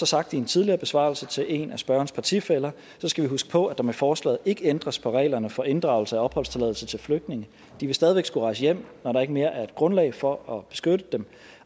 sagt i en tidligere besvarelse til en af spørgerens partifæller skal vi huske på at der med forslaget ikke ændres på reglerne for inddragelse af opholdstilladelser til flygtninge de vil stadig skulle rejse hjem når der ikke mere er grundlag for at beskytte dem